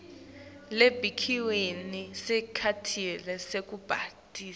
lebekiwe ngesikhatsi sekubhalisa